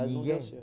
Mas não deu